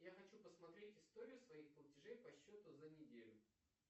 я хочу посмотреть историю своих платежей по счету за неделю